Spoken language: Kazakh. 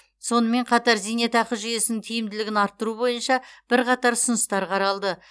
сонымен қатар зейнетақы жүйесін тиімділігін арттыру бойынша бірқатар ұсыныстар қаралды